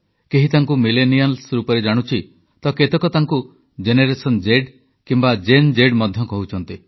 କେହି ତାଙ୍କୁ ମିଲେନିଆଲ୍ସ ରୂପରେ ଜାଣୁଛି ତ କେତେକ ତାଙ୍କୁ ଜେନେରେସନ ଜେଡ୍ କିମ୍ବା ଜେନ୍ ଜେଡ୍ ମଧ୍ୟ କହୁଛନ୍ତି